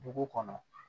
Dugu kɔnɔ